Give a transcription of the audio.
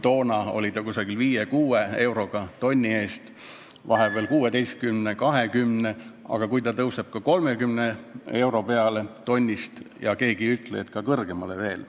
Toona oli see umbes 5–6 eurot tonni eest, vahepeal 16 ja 20, aga keegi ei ütle, et see ei või tõusta isegi 30 euroni ja veel kõrgemale.